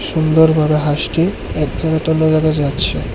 সুন্দর ভাবে হাঁসটি এক জায়গা অন্য জায়গা যাচ্ছে।